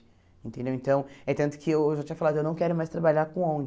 Entendeu então é tanto que eu já tinha falado, eu não quero mais trabalhar com ONG.